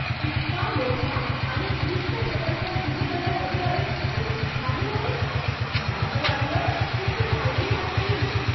इतका मोठा आणि क्लिष्ट प्रकल्प सुरू करण्याबद्दल तू उत्साही आहेस? मला तर वाटलं की तू काळजीत असशील.